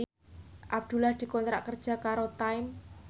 Abdullah dikontrak kerja karo Time